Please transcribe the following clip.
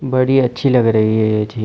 बड़ी अच्छी लग रही है ये झील।